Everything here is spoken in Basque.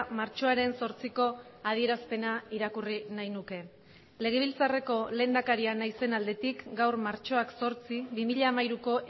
martxoaren zortziko adierazpena irakurri nahi nuke legebiltzarreko lehendakaria naizen aldetik gaur martxoak zortzi bi mila hamairuko